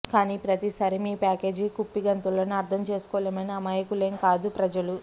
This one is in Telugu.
కానీ ప్రతిసారీ మీ ప్యాకేజీ కుప్పిగంతులను అర్థం చేసుకోలేని అమాయకులేం కాదు ప్రజలు